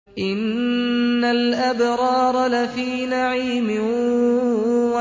إِنَّ الْأَبْرَارَ لَفِي نَعِيمٍ